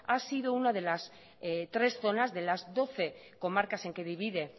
ha sido una de las tres zonas de las doce comarcas en que divide